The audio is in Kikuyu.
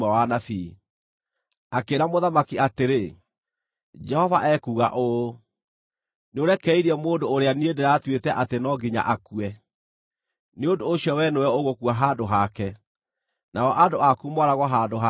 Akĩĩra mũthamaki atĩrĩ, “Jehova ekuuga ũũ: ‘Nĩũrekereirie mũndũ ũrĩa niĩ ndĩratuĩte atĩ no nginya akue. Nĩ ũndũ ũcio wee nĩwe ũgũkua handũ hake, nao andũ aku mooragwo handũ ha andũ ake.’ ”